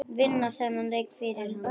Vinna þennan leik fyrir hann!